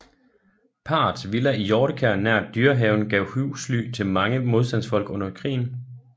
Parrets villa i Hjortekær nær Dyrehaven gav husly til mange modstandsfolk under krigen